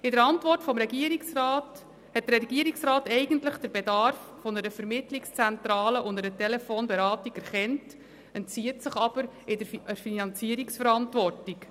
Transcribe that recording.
In seiner Antwort hat der Regierungsrat eigentlich den Bedarf einer Vermittlungszentrale und einer Telefonberatung erkannt, entzieht sich jedoch der Finanzierungsverantwortung.